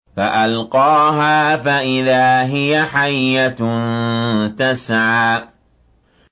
فَأَلْقَاهَا فَإِذَا هِيَ حَيَّةٌ تَسْعَىٰ